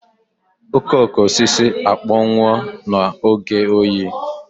Okooko osisi akpọnwụwo n'oge oyi.